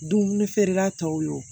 Dumuni feerela tɔw ye